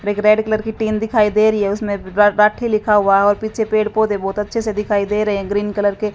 एक red colour की tin दिखाई दे रही है। उसमें राथी लिखा हुआ है और पीछे पेड़-पौधे बहोत अच्छे से दिखाई दे रहे हैं। ग्रीन कलर के--